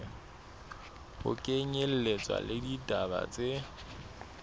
ho kenyelletswa le ditaba tse